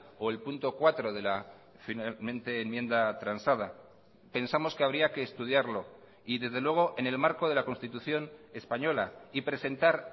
o el punto cuatro de la finalmente enmienda transada pensamos que habría que estudiarlo y desde luego en el marco de la constitución española y presentar